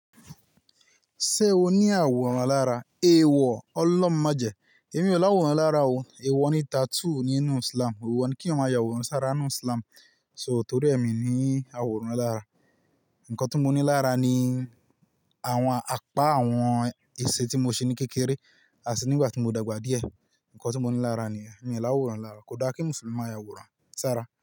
Ṣé o ní àwòrán lára? Èèwọ̀, ọlọ́run májẹ̀ẹ́. Èmi ò láwòrán lára o. Èèwọ̀ ni tattoo nínú Islam. Èèwọ̀ ni kí eeyan maa yàwòrán sára nínú Islam. So tórí è mi n ní àwòrán lára. Ǹnkan tí mo ní lára ni àwọn apá àwọn èsè tí mo ṣe ní kékeré, àti nígbà tí mo dàgbà díẹ̀. Ǹnkan tí mo ní lára niyen. Mi n láwòrán lára. Kò dáa kí Mùsùlùmí maà yàwòrán sára.